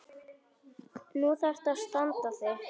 Nú þarftu að standa þig.